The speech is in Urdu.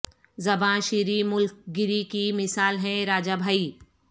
زباں شیریں ملک گیری کی مثال ہیں راجا بھائی